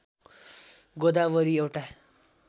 गोदावरी एउटा